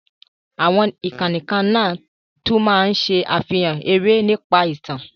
Àwọn ìkànnì kan náà tún máa ń ṣe àfihàn eré nípa ìtàn,